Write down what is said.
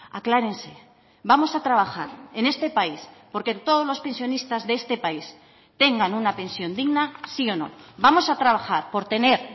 aclárense vamos a trabajar en este país porque todos los pensionistas de este país tengan una pensión digna sí o no vamos a trabajar por tener